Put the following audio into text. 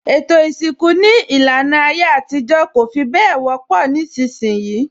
Ètò isinku ní ìlànà ayé àtijọ́ kò fi bẹ wọ́pọ̀ nísìnsìnyí